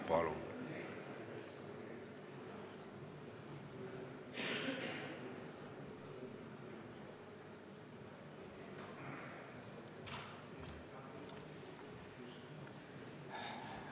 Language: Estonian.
Palun!